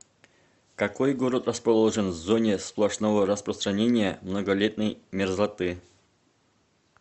какой город расположен в зоне сплошного распространения многолетней мерзлоты